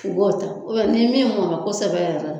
U b'o ta ni min mɔ n bɛ kɔsɛbɛ yɛrɛ